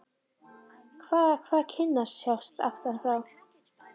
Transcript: Hvaða, hvaða- kinnarnar sjást aftan frá!